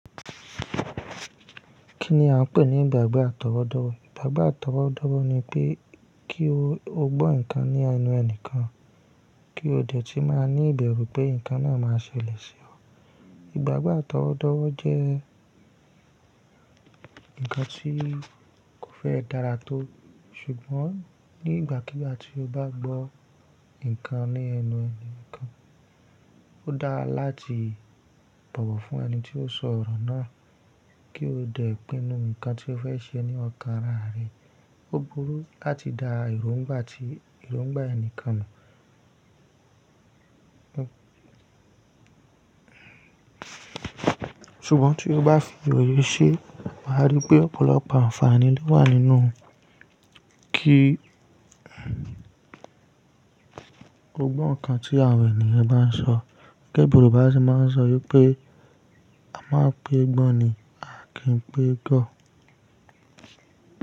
Kí ni a ń pè ní ìgbàgbọ́ àtọwọ́dọ́wọ́? Ìgbàgbọ́ àtọwọ́dọ́wọ́ ni pé kí o gbọ́ nǹkan ní ẹnu ẹni kan, kí o dẹ̀ tí má ní ìbẹ̀rù pé nǹkan náà máa ṣẹlẹ̀ sí ọ. Ìgbàgbọ́ àtọwọ́dọ́wọ́ jẹ́ nǹkan tí kò fẹ́ dára tó. Ṣùgbọ́n nígbàkigbà tí o bá gbọ́ nǹkan ní ẹnu ẹni kan, ó dáa láti bọ̀wọ̀ fún ẹni tí ó sọ ọ̀rọ̀ náà kí o dẹ̀ pinnu nǹkan tí o fẹ́ ṣe ní ọ̀kán arà rẹ. Ó burú láti da èròngbà ti ìròngbà ẹni kan mọ̀. Ṣùgbọ́n tí o bá fi òye ṣe, o máa rí pé ọ̀pọ̀lọpọ̀ àǹfààní ló wà nínú kí o gbọ́ nǹkan tí àwọn ènìyàn bá ń sọ. Gẹ́gẹ́ bí Yorùbá ṣe máa ń sọ wípé “a máa ń pe gbọ́n ni, a kì í pe gọ̀”.